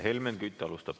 Helmen Kütt alustab.